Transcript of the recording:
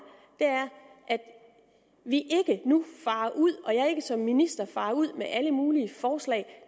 er at vi ikke nu farer ud og at jeg ikke som minister farer ud med alle mulige forslag